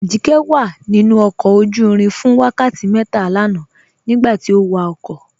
Ajíkẹ̀ wà nínu ọkọ̀ ojú-ìrìn fún wákàtí mẹ́tà lànà nígbàtí ọ wákọ̀